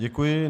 Děkuji.